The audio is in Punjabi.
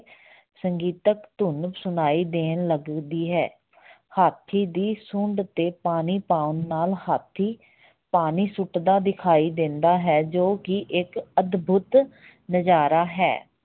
ਸੰਗੀਤਕ ਧੁਣ ਸੁਣਾਈ ਦੇਣ ਲੱਗਦੀ ਹੈ ਹਾਥੀ ਦੀ ਸੁੰਡ ਤੇ ਪਾਣੀ ਪਾਉਣ ਨਾਲ ਹਾਥੀ ਪਾਣੀ ਸੁੱਟਦਾ ਦਿਖਾਈ ਦਿੰਦਾ ਹੈ, ਜੋ ਕਿ ਇੱਕ ਅਦਭੁਤ ਨਜਾਰਾ ਹੈ।